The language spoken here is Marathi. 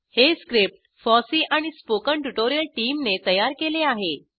हे स्क्रिप्ट फॉसी आणि spoken ट्युटोरियल टीमने तयार केले आहे